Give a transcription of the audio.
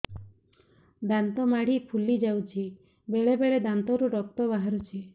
ଦାନ୍ତ ମାଢ଼ି ଫୁଲି ଯାଉଛି ବେଳେବେଳେ ଦାନ୍ତରୁ ରକ୍ତ ବାହାରୁଛି